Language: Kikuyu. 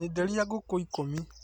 Nyenderia ngũkũikũmi